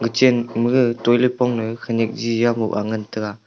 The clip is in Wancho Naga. chenmage toilet pongma khenak jia moha taiga.